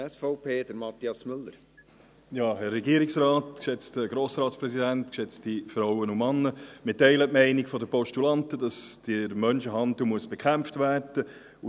Wir teilen die Meinung der Postulanten, dass der Menschenhandel bekämpft werden muss.